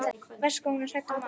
Verst hvað hún er hrædd um mann.